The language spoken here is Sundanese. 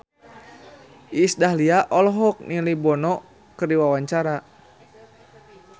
Iis Dahlia olohok ningali Bono keur diwawancara